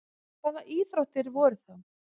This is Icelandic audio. Hvaða íþróttir voru þá?